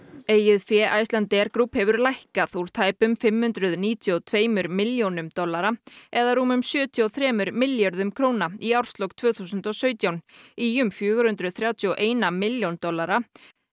eigið fé Icelandair Group hefur lækkað úr tæpum fimm hundruð níutíu og tveimur milljónum dollara eða rúmum sjötíu og þremur milljörðum króna í árslok tvö þúsund og sautján í um fjögur hundruð þrjátíu og ein milljón dollara